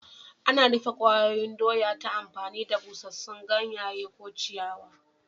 Ana yin rufe kwayoyin doya ta amfani da busassun ganye ko ciyawa.